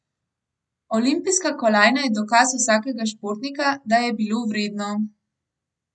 Olimpijska kolajna je dokaz vsakega športnika, da je bilo vredno.